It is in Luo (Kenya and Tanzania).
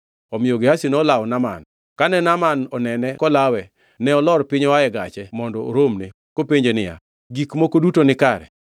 Omiyo Gehazi nolawo Naaman, kane Naaman onene kolawe, ne olor piny oa e gache mondo oromne, kopenje niya, Gik moko duto nikare?